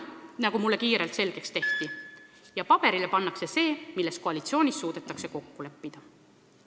Nagu mulle kiirelt selgeks tehti, paberile pannakse see, milles koalitsioonis suudetakse kokku leppida.